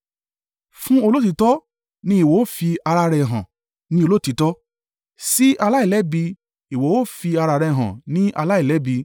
Fún olóòtítọ́ ni ìwọ ó fi ara rẹ̀ hàn ní olóòtítọ́, sí aláìlẹ́bi, ìwọ ó fi ara rẹ̀ hàn ní aláìlẹ́bi,